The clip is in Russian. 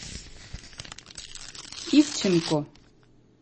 ивченко